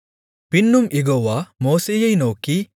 பின்னும் யெகோவா மோசேயை நோக்கி